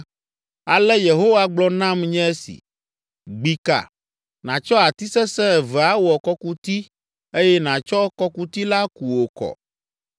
Ale Yehowa gblɔ nam nye esi: “Gbi ka, nàtsɔ ati sesẽ eve awɔ kɔkuti eye nàtsɔ kɔkuti la ku wò kɔ.